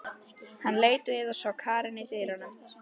Hann leit við og sá Karen í dyrunum.